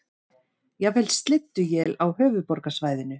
Jafnvel slydduél á höfuðborgarsvæðinu